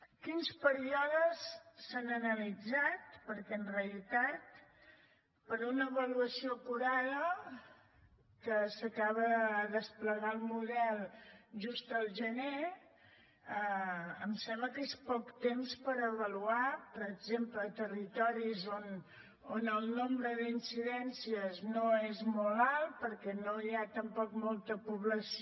quins períodes s’han analitzat perquè en realitat per a una avaluació acurada que s’acaba de desplegar el model just al gener em sembla que és poc temps per avaluar per exemple territoris on el nombre d’incidències no és molt alt perquè no hi ha tampoc molta població